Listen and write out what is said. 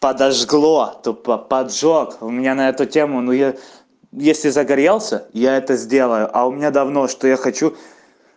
подожгла тупо поджог у меня на эту тему ну я если загорелся я это сделаю а у меня давно что я хочу